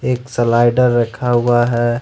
एक स्लाइडर रखा हुआ है।